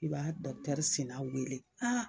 I b'a dɔkutɛri sinna wele